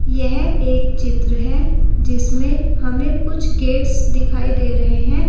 यह एक चित्र है जिसमें हमें कुछ गेट्स दिखाई दे रहे है।